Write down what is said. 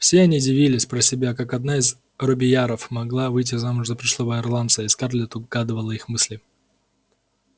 все они дивились про себя как одна из робийяров могла выйти замуж за пришлого ирландца и скарлетт угадывала их мысли